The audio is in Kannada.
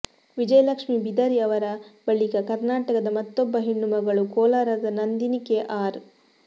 ವಿಜಯಲಕ್ಷ್ಮೀ ಬಿದರಿ ಅವರ ಬಳಿಕ ಕರ್ನಾಟಕದ ಮತ್ತೊಬ್ಬ ಹೆಣ್ಣುಮಗಳು ಕೋಲಾರದ ನಂದಿನಿ ಕೆಆರ್